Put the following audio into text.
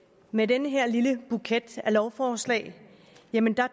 med den her lille buket af lovforslag